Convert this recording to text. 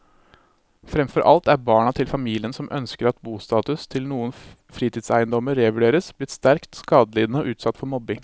Fremfor alt er barna til familiene som ønsker at bostatus til noen fritidseiendommer revurderes, blitt sterkt skadelidende og utsatt for mobbing.